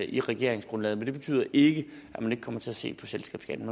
i regeringsgrundlaget men det betyder ikke at man ikke kommer til at se på selskabsskatten